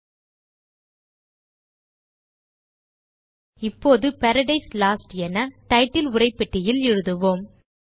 நாம் இப்போது Paradise Lost என டைட்டில் உரைப்பெட்டியில் எழுதுவோம்